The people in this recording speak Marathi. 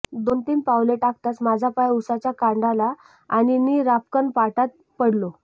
दोन तीन पावले टाकताच माझा पाय उसाच्या कांडाला आणि नि रापकन पाटात पडलो